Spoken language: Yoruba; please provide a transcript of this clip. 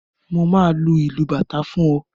Mo máa lu ìlù bàtá fún ọ.